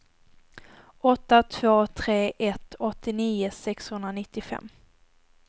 åtta två tre ett åttionio sexhundranittiofem